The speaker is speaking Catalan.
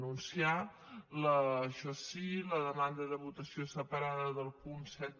anunciar això sí la demanda de votació separada del punt set